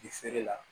I feere la